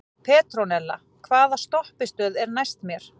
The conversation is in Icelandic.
Petrónella, hvaða stoppistöð er næst mér?